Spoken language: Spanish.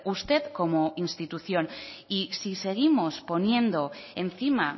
usted como institución y si seguimos poniendo encima